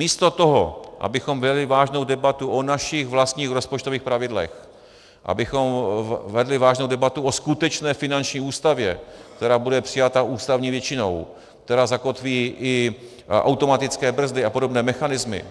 Místo toho, abychom vedli vážnou debatu o našich vlastních rozpočtových pravidlech, abychom vedli vážnou debatu o skutečné finanční ústavě, která bude přijata ústavní většinou, která zakotví i automatické brzdy a podobné mechanismy,